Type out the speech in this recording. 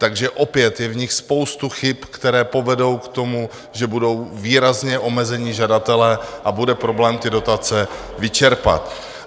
Takže opět je v nich spousta chyb, které povedou k tomu, že budou výrazně omezeni žadatelé a bude problém ty dotace vyčerpat.